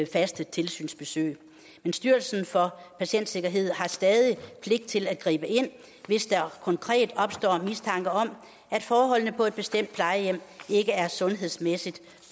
faste tilsynsbesøg men styrelsen for patientsikkerhed har stadig pligt til at gribe ind hvis der konkret opstår en mistanke om at forholdene på et bestemt plejehjem ikke er sundhedsmæssigt